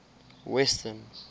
western